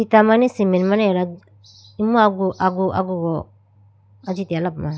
acha mane cement mane agala imu agu agu agugo ajitegala po.